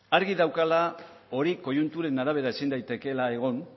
argi daukala hori koiunturen arabera ezin daitekeela egon